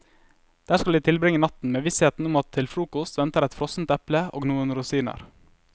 Der skal de tilbringe natten, med vissheten om at til frokost venter et frossent eple og noen rosiner.